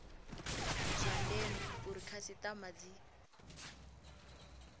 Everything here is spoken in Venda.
zwa ndeme uri khasitama dzi